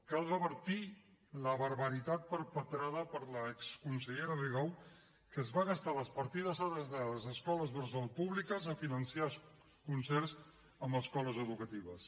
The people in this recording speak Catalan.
cal revertir la barbaritat perpetrada per l’exconsellera rigau que es va gastar les partides adreçades a escoles bressol públiques a finançar concerts amb escoles educatives